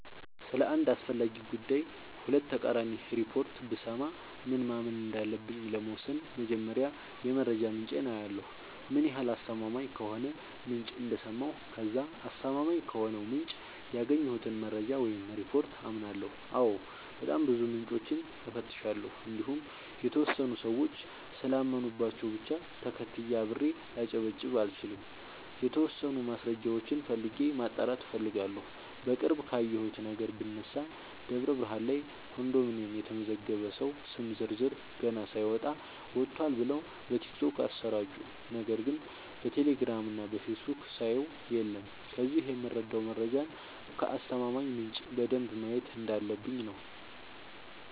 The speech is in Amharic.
ስለ አንድ አስፈላጊ ጉዳይ ሁለት ተቃራኒ ሪፖርት ብሰማ ምን ማመን እንዳለብኝ ለመወሠን መጀመሪያ የመረጃ ምንጬን አያለሁ ምን ያህል አስተማማኝ ከሆነ ምንጭ እንደሰማሁ ከዛ አስተማማኝ ከሆነው ምንጭ ያገኘሁትን መረጃ ወይም ሪፓርት አምናለሁ አዎ በጣም ብዙ ምንጮችን እፈትሻለሁ እንዲሁም የተወሰኑ ሰዎች ስላመኑባቸው ብቻ ተከትዬ አብሬ ላጨበጭብ አልችልም የተወሰኑ ማስረጃዎችን ፈልጌ ማጣራት እፈልጋለሁ። በቅርብ ካየሁት ነገር ብነሳ ደብረብርሃን ላይ ኮንዶሚኒየም የተመዘገበ ሰው ስም ዝርዝር ገና ሳይወጣ ወጥቷል ብለው በቲክቶክ አሰራጩ ነገር ግን በቴሌግራም እና በፌስቡክ ሳየው የለም ከዚህ የምረዳው መረጃን ከአስተማማኝ ምንጭ በደንብ ማየት እንዳለበ፣ ብኝ ነው።